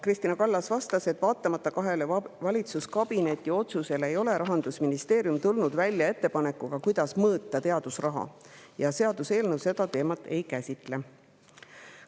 Kristina Kallas vastas, et vaatamata kahele valitsuskabineti otsusele ei ole Rahandusministeerium tulnud välja ettepanekuga, kuidas mõõta teadusraha, ja seaduseelnõu seda teemat ei käsitle.